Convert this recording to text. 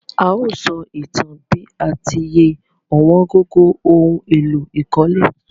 A o só ìtan bi a ti ye ọ̀wóngógó oun éló ìkólé